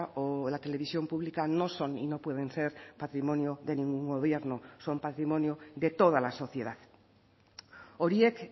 o la televisión pública no son y no pueden ser patrimonio de ningún gobierno son patrimonio de toda la sociedad horiek